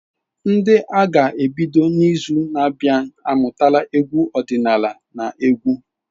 Ndị a ga-ebido n’izu na-abịa amụtala egwu ọdịnala na egwu.